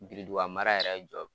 Biriduga a mara yɛrɛ jɔ